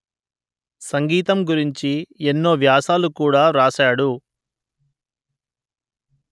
సంగీతం గురించి ఎన్నో వ్యాసాలు కూడా వ్రాశాడు